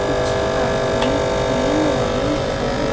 कुछ आदमी खेल रहे हैं।